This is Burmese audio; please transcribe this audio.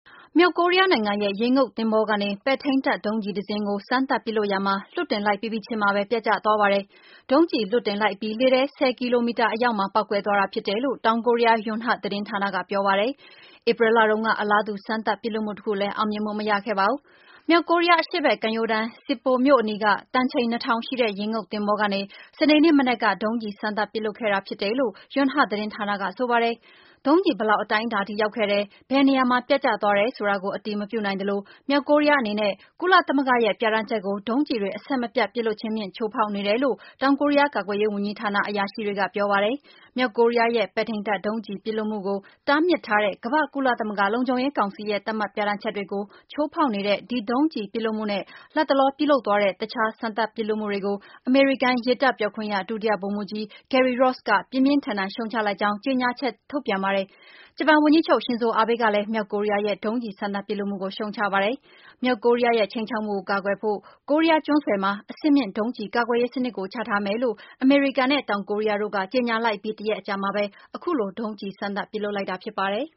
မြောက်ကိုးရီးယားနိုင်ငံရဲ့ ရေငုပ်သင်္ဘောကနေ ပဲ့ထိန်းတပ် ဒုံးကျည်တစင်းကို စမ်းသပ်ပစ်လွှတ်ရာမှာ လွှတ်တင်လိုက်ပြီးပြီးချင်းမှာပဲ ပျက်ကျသွားပါတယ်။ ဒုံးကျည်လွှတ်တင်လိုက်အပြီး လေထဲ ၁၀ ကီလိုမီတာ အရောက်မှာ ပေါက်ကွဲ သွားတာ ဖြစ်တယ်လို့ တောင်ကိုးရီးယား ယွန်ဟတ် သတင်းဌာနက ပြောပါတယ်။ ဧပြီလတုန်းက အလားတူ စမ်းသပ်ပစ်လွှတ်မှုတခုလည်း အောင်မြင်မှုမရခဲ့ပါဘူး။ မြောက်ကိုးရီးယား အရှေ့ဘက် ကမ်းရိုးတန်း၊ Sinpo မြို့အနီးက တန်ချိန် ၂ ထောင် ရှိတဲ့ ရေငုပ်သင်္ဘောကနေ စနေနေ့ မနက်က ဒုံးကျည်စမ်းသပ် ပစ်လွှတ်ခဲ့တာ ဖြစ်တယ်လို့ ယွန်ဟတ် သတင်းဌာနက ဆိုပါတယ်။ ဒုံးကျည် ဘယ်လောက် အတိုင်းအတာအထိ ရောက်ခဲ့တယ်၊ ဘယ်နေရာမှ ပျက်ကျသွားတယ် ဆိုတာကို အတည်မပြု နိုင်သလို မြောက်ကိုးရီးယားအနေနဲ့ ကုလသမဂ္ဂရဲ့ ပြဌာန်းချက်ကို ဒုံးကျည်တွေ အဆက်မပြတ် ပစ်လွှတ်ခြင်းဖြင့် ချိုးဖောက်နေတယ်လို့ တောင်ကိုးရီးယား ကာကွယ်ရေး ဝန်ကြီးဌာန အရာရှိတွေက ပြောပါတယ်။ မြောက်ကိုးရီးယားရဲ့ ပဲထိန်းတပ် ဒုံးကျည် ပစ်လွှတ်မှုကို တားမြစ်ထားတဲ့ ကမ္ဘာ့ ကုလသမဂ္ဂ လုံခြုံရေးကောင်စီရဲ့သတ်မှတ် ပြဌာန်းချက်တွေကို ချိုးဖောက်နေတဲ့ ဒီဒုံးကျည် ပစ်လွှတ်မှုနဲ့ လတ်တလော ပြုလုပ်သွားတဲ့ အခြား စမ်းသပ် ပစ်လွှတ်မှုတွေကို အမေရိကန် ရေတပ်ပြောခွင့်ရ ဒုတိယဗိုလ်မှုးကြီး Gary Ross က ပြင်းပြင်းထန်ထန် ရှုံံချလိုက်ကြောင်း ကြေငြာချက် ထုတ်ပြန်ပါတယ်။ ဂျပန် ဝန်ကြီးချုပ် Shinzo Abe ကလည်း မြောက်ကိုးရီးယားရဲ့ ဒုံးကျည် စမ်းသပ်ပစ်လွှတ်မှုကို ရှုံ့ချပါတယ်။ မြောက်ကိုးရီးယားရဲ့ ခြိမ်းခြောက်မှုကို ကာကွယ်ဖို့ ကိုရီးယား ကျွန်းဆွယ် မှာ အဆင့်မြင့် ဒုံးကျည် ကာကွယ်ရေးစနစ်ကို ချထားမယ်လို့ အမေရိကန်နဲ့ တောင်ကိုရီးယားတို့က ကြေညာလိုက်အပြီး တစ်ရက် အကြာမှာပဲ အခုလို ဒုံးကျည် စမ်းသပ် ပစ်လွှတ်လိုက်တာ ဖြစ်ပါတယ်